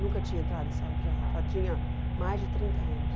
Nunca tinha entrado em sala de aula, já tinha mais de trinta anos.